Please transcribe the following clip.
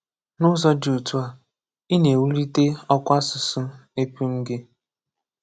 N’ụzọ̄ dị otu a, ị na-ewūlite ọkwa àsụsụ ēpūṃ gị.